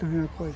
coisa?